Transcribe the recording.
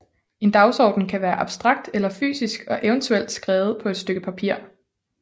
En dagsorden kan være abstrakt eller fysisk og eventuelt skrevet på et stykke papir